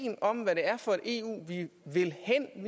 blive ved det